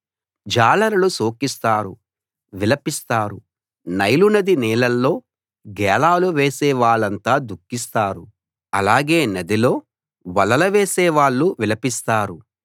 జాలరులు శోకిస్తారు విలపిస్తారు నైలు నది నీళ్ళలో గేలాలు వేసే వాళ్ళంతా దుఖిస్తారు అలాగే నదిలో వలలు వేసే వాళ్ళు విలపిస్తారు